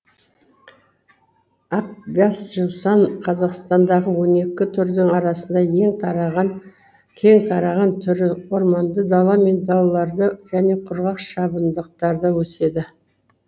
ақбасжусан қазақстандағы он екі түрдің арасында кең таралған түрі орманды дала мен далаларда және құрғақ шабындықтарда өседі